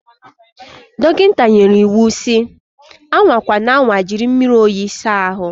Dọkịta nyere ya iwu si, anwa kwana anwa jiri mmiri oyi sa ahu.